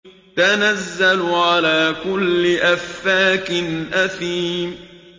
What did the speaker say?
تَنَزَّلُ عَلَىٰ كُلِّ أَفَّاكٍ أَثِيمٍ